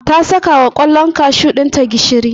ta saka wa kwallon kashu ɗinta gishiri.